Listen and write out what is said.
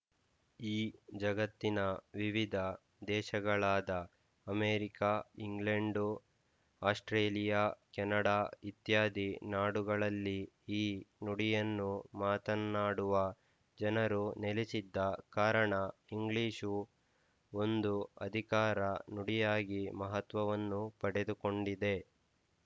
ಈ ಜಗತ್ತಿನ ವಿವಿಧ ದೇಶಗಳಾದ ಅಮೇರಿಕ ಇಂಗ್ಲೆಂಡು ಆಸ್ಟ್‌ರೇಲಿಯಾ ಕೆನಡಾ ಇತ್ಯಾದಿ ನಾಡುಗಳಲ್ಲಿ ಈ ನುಡಿಯನ್ನು ಮಾತನ್ನಾಡುವ ಜನರು ನೆಲಸಿದ್ದ ಕಾರಣ ಇಂಗ್ಲಿಶು ಒಂದು ಅಧಿಕಾರ ನುಡಿಯಾಗಿ ಮಹತ್ವವನ್ನು ಪಡೆದುಕೊಂಡಿದೆ